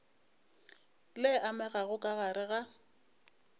le amegago ka gare ga